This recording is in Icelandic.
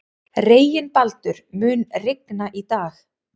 Reginbaldur, mun rigna í dag?